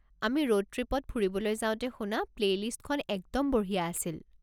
আমি ৰোড ট্ৰিপত ফুৰিবলৈ যাওঁতে শুনা প্লেইলিষ্টখন একদম বঢ়িয়া আছিল।